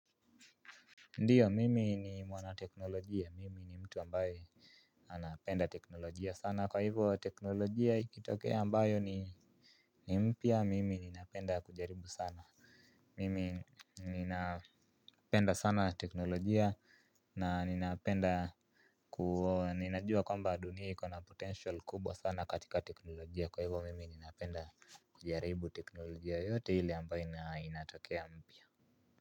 Ndiyo mimi ni mwana teknolojia mimi ni mtu ambaye anapenda teknolojia sana kwa hivo teknolojia ikitokea ambayo ni mpia mimi ninapenda kujaribu sana. Mimi ninapenda sana teknolojia na ninapenda kuo ninajua kwamba dunia hiko na potential kubwa sana katika teknolojia kwa hivyo mimi ninapenda kujaribu teknolojia yote hili ambaye inatokea mpia.